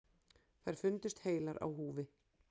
Þær fundust heilar á húfi.